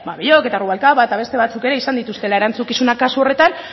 ba belloch eta rubalcaba eta beste batzuk ere izan dituztela erantzukizuna kasu horretan